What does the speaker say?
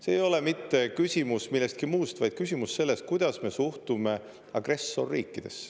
See ei ole mitte küsimus millestki muust, vaid küsimus sellest, kuidas me suhtume agressorriikidesse.